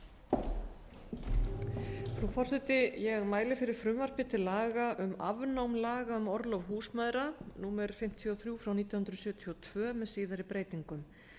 frú forseti ég mæli fyrir frumvarpi til laga um afnám laga um orlof húsmæðra númer fimmtíu og þrjú nítján hundruð sjötíu og tvö með síðari breytingum